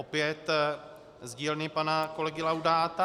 Opět z dílny pana kolegy Laudáta.